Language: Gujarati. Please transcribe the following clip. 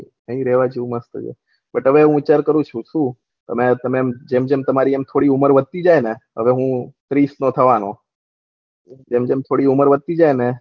બટ હવે હું સેહેર કરું છું શું તમે આમ જેમ જેમ થઇ રહ્યા છે મસ્ત છે એટલે થોડી ઉમર વધતી જાય ને હવે હું ત્રીસ નું થવાનું જેમ જેમ થોડી ઉમર વધતી જાય ને